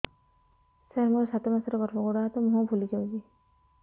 ସାର ମୋର ସାତ ମାସର ଗର୍ଭ ଗୋଡ଼ ହାତ ମୁହଁ ଫୁଲି ଯାଉଛି